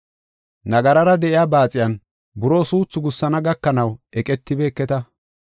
Nagarara de7iya baaxiyan buroo suuthu gussana gakanaw eqetibeketa.